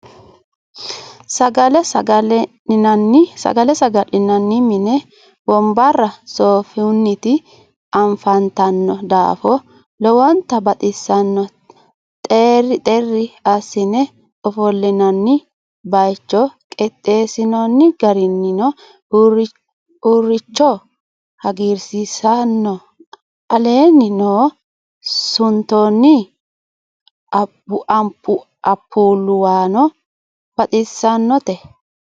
sagalle saga'linanni minni wonbara soofunit afanitanno daafo lowonta baxisanno xeri xeri asine ofolinanni bayicho qixeesinooni garinno uricho hagirisisano aleenni no suntoonni anpuluwano baxisannote.